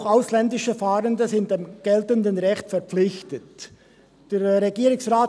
«Auch die ausländischen Fahrenden sind dem geltenden Recht verpflichtet» (.